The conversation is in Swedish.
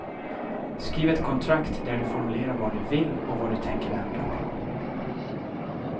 Skriv ett kontrakt där du formulerar vad du vill och vad du tänker ändra på.